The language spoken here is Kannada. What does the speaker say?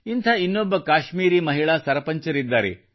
ಇಂಥ ಇನ್ನೊಬ್ಬ ಕಾಶ್ಮೀರಿ ಮಹಿಳಾ ಸರಪಂಚರಿದ್ದಾರೆ